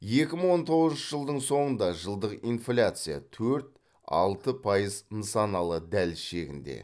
екі мың он тоғызыншы жылдың соңында жылдық инфляция төрт алты пайыз нысаналы дәліз шегінде